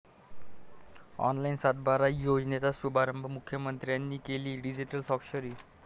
online सातबारा योजनेचा शुभारंभ, मुख्यमंत्र्यांनी केली डिजीटल स्वाक्षरी